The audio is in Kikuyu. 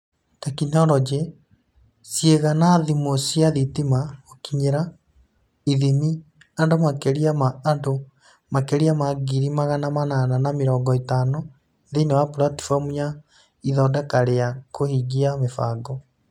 Teknoroji: Ciĩga na thimũ cia thitima Gũkinyĩra/ithimi: andũ makĩria ma andũ makĩria ma ngiri magana manana na mĩrongo ĩtano thĩinĩ wa platform ya Ithondeka rĩa kũhingia mĩbango.